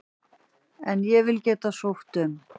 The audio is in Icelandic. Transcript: En ég vil geta sótt um.